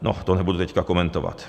No, to nebudu teď komentovat.